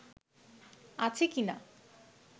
আছে কি-না